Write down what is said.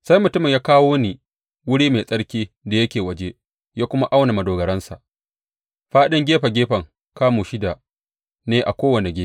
Sai mutumin ya kawo ni wuri mai tsarki da yake waje ya kuma auna madogaransa; fāɗin gefe gefen kamu shida ne a kowane gefe.